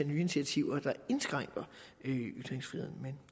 nye initiativer der indskrænker ytringsfriheden men